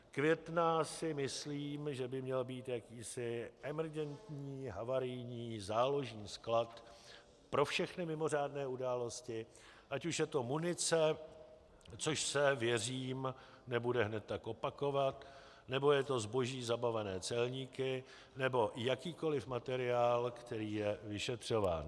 Květná, si myslím, že by měla být jakýsi emergentní, havarijní, záložní sklad pro všechny mimořádné události, ať už je to munice, což se, věřím, nebude hned tak opakovat, nebo je to zboží zabavené celníky nebo jakýkoliv materiál, který je vyšetřován.